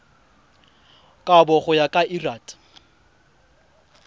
kabo go ya ka lrad